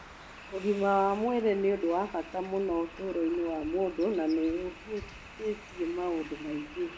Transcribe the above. Ũgima wa mwĩrĩ nĩ ũndũ wa bata mũno ũtũũro-inĩ wa mũndũ na nĩ ũhutĩtie maũndũ maingĩ